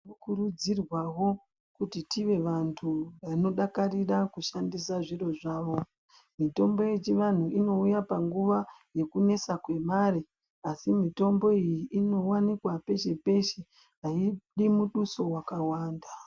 Tinokurudzirwa wo kuti tive vantu vanodakarira kushandisa zviro zvavo mitombo yechiantu inouyapanguva yekunesa kwemare asi mutombo iyi inowanikwa peshe peshe hayidi muduso wakawanda.